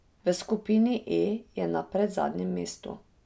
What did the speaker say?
V skupini E je na predzadnjem mestu.